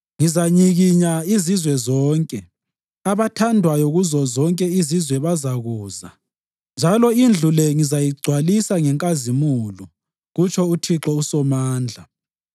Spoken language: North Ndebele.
Ngizanyikinya izizwe zonke, abathandwayo kuzozonke izizwe bazakuza, njalo indlu le ngizayigcwalisa ngenkazimulo,’ kutsho uThixo uSomandla,